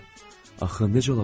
Axı necə ola bilər?